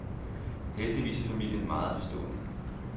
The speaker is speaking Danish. Heldigvis er familien meget forstående.